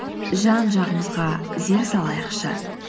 жан жағымызға зер салайықшы